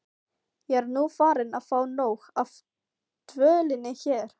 Ég er nú farin að fá nóg af dvölinni hér.